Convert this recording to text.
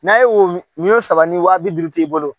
N'a ye woyo saba ni waa bi duuru k'i bolo